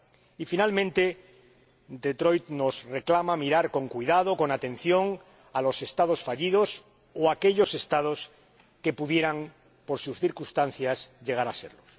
Y, por último, Detroit nos reclama mirar con cuidado, con atención, a los Estados fallidos o a aquellos Estados que pudieran por sus circunstancias llegar a serlo.